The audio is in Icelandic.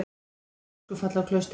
Mikið öskufall á Klaustri